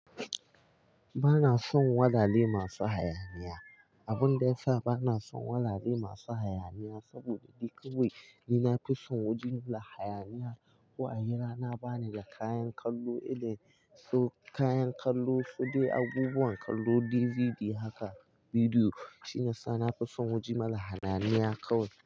Ba na son walale masu hayaniya. Abun da ya sa ba na son wurare masu hayaniya saboda duk kawai, ni na fi son waje da hayaniya. Ko ayi rana ba ni da kayan kallo, irin su kayan kallo, so dai abubuwan kallo DVD haka bidiyo shi yasa na fi son wajen mara hayaniya kawai.